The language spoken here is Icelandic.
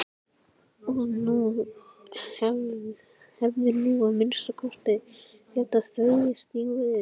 Og þú hefðir nú að minnsta kosti getað þvegið stígvélin.